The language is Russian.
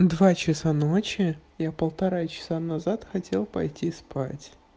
два часа ночи я полтора часа назад хотел пойти спать